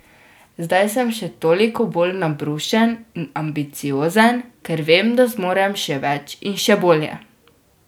Zdaj sem še toliko bolj nabrušen in ambiciozen, ker vem, da zmorem še več in še bolje.